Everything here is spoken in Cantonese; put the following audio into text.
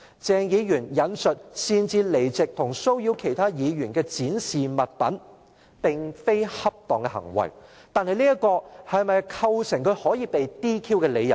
鄭議員"擅自離席及騷擾其他議員的展示物品"並非恰當行為，但這是否構成他可以被 "DQ" 的理由？